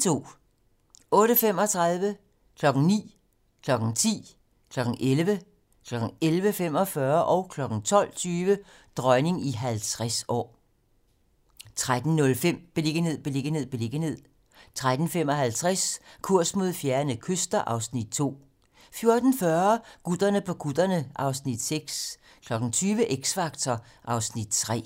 08:35: Dronning i 50 år 09:00: Dronning i 50 år 10:00: Dronning i 50 år 11:00: Dronning i 50 år 11:45: Dronning i 50 år 12:20: Dronning i 50 år 13:05: Beliggenhed, beliggenhed, beliggenhed 13:55: Kurs mod fjerne kyster (Afs. 2) 14:40: Gutterne på kutterne (Afs. 6) 20:00: X Factor (Afs. 3)